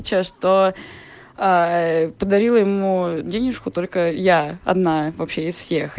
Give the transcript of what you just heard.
че что подарила ему денежку только я одна вообще из всех